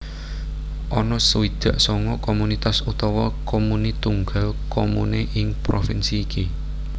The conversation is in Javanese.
Ana swidak sanga komunitas utawa comuni tunggal comune ing provinsi iki